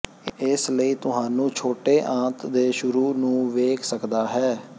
ਇਸ ਲਈ ਤੁਹਾਨੂੰ ਛੋਟੇ ਆੰਤ ਦੇ ਸ਼ੁਰੂ ਨੂੰ ਵੇਖ ਸਕਦਾ ਹੈ